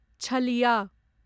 छलिया